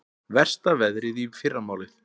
Versta veðrið í fyrramálið